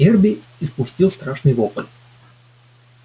эрби испустил страшный вопль